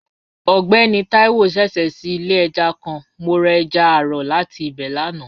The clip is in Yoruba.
Ọgbẹni Taiwo ṣẹṣẹ ṣii ile ẹja kan, mo ra ẹja aro lati ibẹ lana.